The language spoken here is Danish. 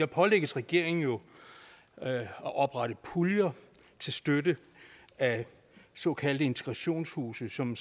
pålægges regeringen jo at oprette puljer til støtte af såkaldte integrationshuse som